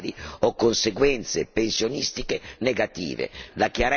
La chiarezza e le regole rispettano la libertà e il lavoro.